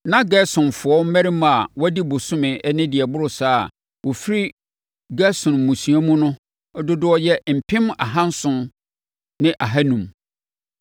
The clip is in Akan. Na Gersonfoɔ mmarima a wɔadi bosome ne deɛ ɛboro saa a wɔfiri Gerson mmusua mu no dodoɔ yɛ mpem ahanson ne ahanum (7,500).